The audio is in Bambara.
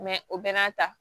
o bɛɛ n'a ta